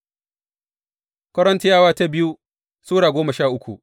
biyu Korintiyawa Sura goma sha uku